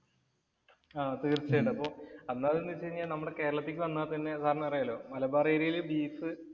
ആഹ് തീർച്ചയായിട്ടും അപ്പോ എന്താന്ന് വെച്ച് കഴിഞ്ഞാൽ നമ്മുടെ കേരളത്തിലേക്ക് വന്നാൽ തന്നെ സാറിന് അറിയാല്ലോ മലബാർ ഏരിയയില് ബീഫ്